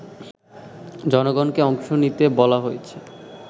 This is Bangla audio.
জনগণকে অংশ নিতে বলা হয়েছে